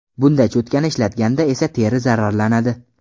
Bunday cho‘tkani ishlatganda esa teri zararlanadi.